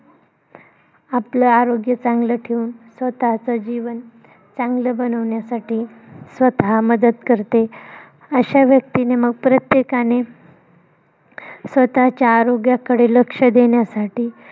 आपलं आरोग्य चांगलं ठेऊन स्वतःच जीवन चांगलं बनवण्यासाठी स्वतः मदत करते. अश्या व्यक्तीने मग प्रत्येकाने स्वतःच्या आरोग्याकडे लक्ष देण्यासाठी